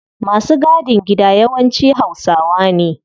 Masu gadin gida yawanci hausawa ne